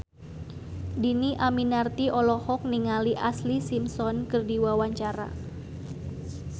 Dhini Aminarti olohok ningali Ashlee Simpson keur diwawancara